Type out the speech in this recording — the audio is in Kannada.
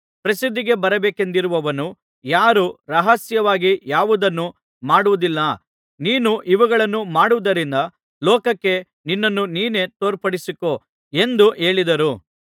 ಪ್ರಸಿದ್ಧಿಗೆ ಬರಬೇಕೆಂದಿರುವವನು ಯಾರೂ ರಹಸ್ಯವಾಗಿ ಯಾವುದನ್ನೂ ಮಾಡುವುದಿಲ್ಲ ನೀನು ಇವುಗಳನ್ನು ಮಾಡುವುದರಿಂದ ಲೋಕಕ್ಕೆ ನಿನ್ನನ್ನು ನೀನೇ ತೋರ್ಪಡಿಸಿಕೋ ಎಂದು ಹೇಳಿದರು